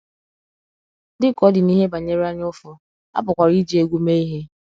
Dị ka ọ dị n’ihe banyere anyaụfụ, a pụkwara iji egwu mee ihe.